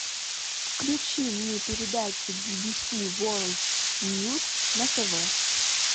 включи мне передачу би би си ворлд ньюс на тв